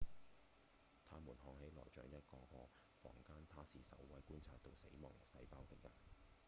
它們看起來像一個個房間他是首位觀察到死亡細胞的人